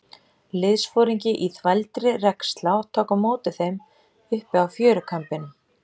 Liðsforingi í þvældri regnslá tók á móti þeim uppi á fjörukambinum.